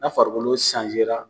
Na farikolo